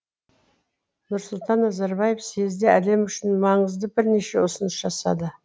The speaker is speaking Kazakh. нұрсұлтан назарбаев съезде әлем үшін маңызды бірнеше ұсыныс жасады